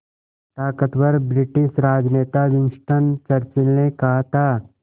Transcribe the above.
ताक़तवर ब्रिटिश राजनेता Winston Churchill ने कहा था